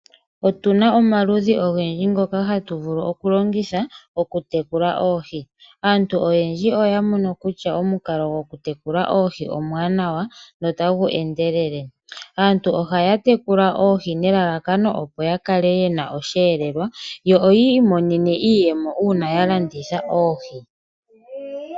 Otuna omaludhi ogendji ngoka hatu vulu oku longitha okutekula oohi. Aantu oyendji oya mono kutya omukalo gokutekula oohi omwaanwaa notagu endelele. Aantu ohaya tekula oohi, nelalakano opo ya kale ye na osheelelwa yo yi imonene mo iiyemo uuna ya landitha oohi.